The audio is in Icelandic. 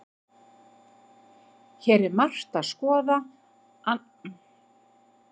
Hér er margt að skoða annað en skakka stigann og ýmsu fjarskyldu ægir saman.